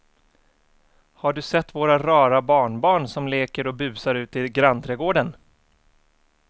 Har du sett våra rara barnbarn som leker och busar ute i grannträdgården!